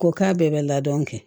Ko k'a bɛɛ bɛ ladon kɛ